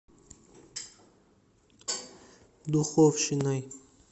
духовщиной